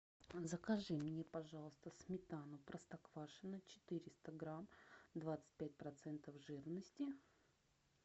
закажи мне пожалуйста сметану простоквашино четыреста грамм двадцать пять процентов жирности